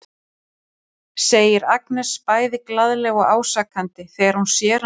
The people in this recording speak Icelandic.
segir Agnes bæði glaðlega og ásakandi þegar hún sér hann aftur.